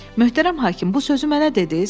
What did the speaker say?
Möhtərəm hakim, bu sözü mənə dediz?